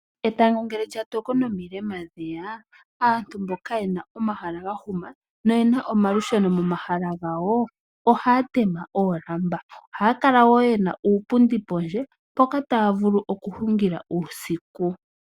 Etango ngele lyatoko nomilema dheya, aantu mboka yena omahala gahuma noyena omalusheno momahala gawo ohaya teme oolamba. Ohaya kala woo yena uupundi pondje mpoka taya vulu okuhungila uusiku.